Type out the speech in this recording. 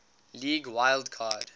league wild card